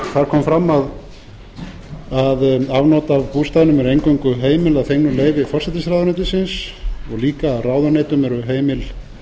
kom fram að afnot af bústaðnum eru eingöngu heimil að fengnu leyfi forsætisráðuneytinu og líka að ráðuneytum eru heimil